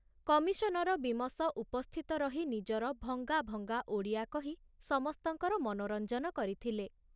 Commissioner Beames ଉପସ୍ଥିତ ରହି ନିଜର ଭଙ୍ଗାଭଙ୍ଗା ଓଡ଼ିଆ କହି ସମସ୍ତଙ୍କର ମନୋରଞ୍ଜନ କରିଥିଲେ।